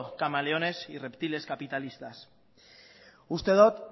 camaleones y reptiles capitalistas uste dut